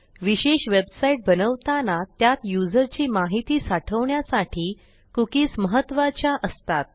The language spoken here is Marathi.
विशेष वेबसाईट बनवताना त्यात युजरची माहिती साठवण्यासाठी कुकीज महत्त्वाच्या असतात